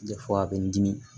a bɛ n dimi